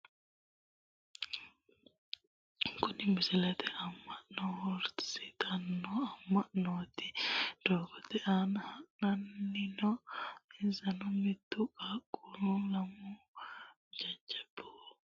Kunni musilimete amano harunisitano amananooti doogote aana hadhani no insano mittu qaaqquna lamu jajjabu qoteho shirixe wodhite hadhani no qaaqqu umoho.......